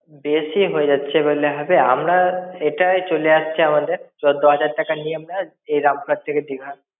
বেশি হয়ে যাচ্ছে বললে হবে? আমরা এটাই চলে আসছে আমাদের. চোদ্দ হাজার টাকা নি আমরা, এই রামপুরহাট থেকে দিঘা।